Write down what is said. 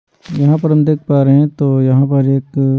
यहाँ पर हम देख पा रहे हैं तो यहाँ पर एक--